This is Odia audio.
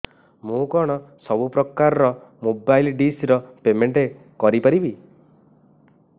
ମୁ କଣ ସବୁ ପ୍ରକାର ର ମୋବାଇଲ୍ ଡିସ୍ ର ପେମେଣ୍ଟ କରି ପାରିବି